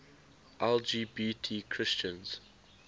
lgbt christians